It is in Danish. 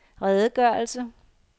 redegørelse